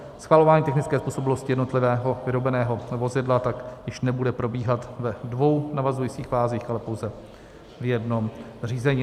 Schvalování technické způsobilosti jednotlivého vyrobeného vozidla tak již nebude probíhat ve dvou navazujících fázích, ale pouze v jednom řízení.